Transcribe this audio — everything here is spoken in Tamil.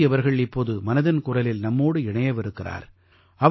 ப்ரீதி அவர்கள் இப்போது மனதின் குரலில் நம்மோடு இணையவிருக்கிறார்